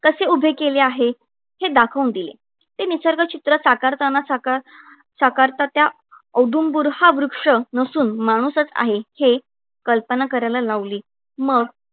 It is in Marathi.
कसे उभे केले आहे? हे दाखवून दिले. ते निसर्गचित्र साकारताना साकार साकारता औदुंबूर हा वृक्ष नसून माणूसच आहे हे कल्पना करायला लावली. मग